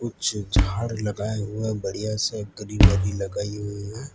कुछ झाड़ लगाए हुए है बढ़िया से ग्रीनरी लगाई हुए है।